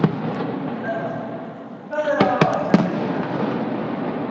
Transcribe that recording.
Eðvald, hvað er á áætlun minni í dag?